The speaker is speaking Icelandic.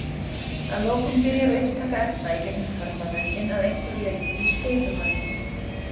Að lokum byrjar upptaka efna í gegnum þarmavegginn að einhverju leyti í skeifugörninni.